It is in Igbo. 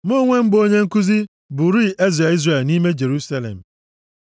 Mụ onwe m bụ onye nkuzi, bụrịị eze Izrel nʼime Jerusalem.